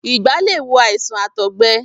ìgbá lè wo àìsàn àtọ̀gbe.